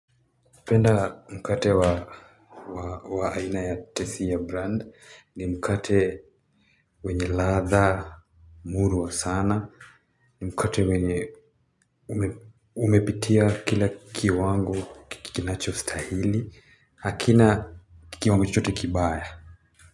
Napenda mkate wa aina ya tesi ya brand ni mkate wenye ladha murwa sana, ni mkate wenye umepitia kila kiwango kinacho stahili hakina kiwango chochote kibaya.